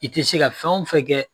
I ti se ka fɛn o fɛn kɛ